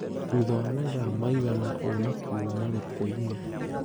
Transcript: Thutha wa mathaa maigana ũna kuuma rũkũ-inĩ,